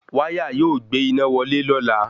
Wáyà yóò gbé iná wọlé lọ́la